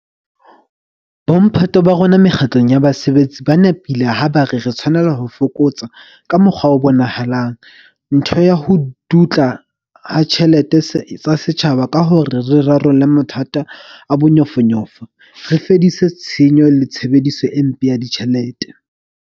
Bomphato ba rona mekga tlong ya basebetsi ba nepile ha ba re re tshwanela ho fokotsa, ka mokgwa o bonahalang, ntho ya ho dutla ha ditjhelete tsa setjhaba ka hore re rarolle mathata a bonyofonyofo, re fedise tshenyo le tshebediso e mpe ya ditjhelete.